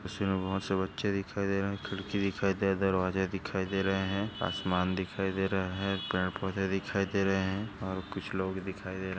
इसमें बहुत से बच्चे दिखाई दे रहे हैं। खिड़की दिखाई दे दरवाजे दिखाई दे रहे हैं। आसमान दिखाई दे रहा हैं। पेड़ पौधे दिखाई दे रहे हैं और कुछ लोग दिखाई दे--